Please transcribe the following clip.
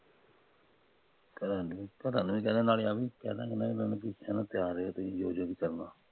ਤੁਸੀਂ ਤਿਆਰ ਰਹੋ ਤੁਸੀਂ ਜੋ ਜੋ ਵੀ ਕਰਨਾ ਆ